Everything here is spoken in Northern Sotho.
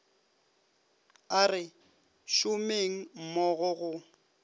a re šomeng mmogo go